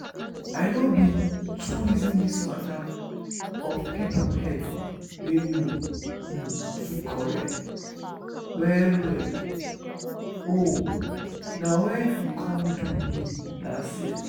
i no been too reason this matter of people head wey no um too correct well well o na wen e come do me last year